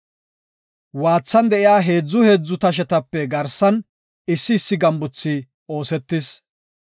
Waathan de7iya heedzu heedzu tashetape garsan issi issi gambuthi oosetis.